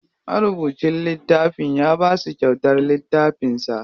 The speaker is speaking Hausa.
Marubucin littafin ya basu kyautar littafin sa.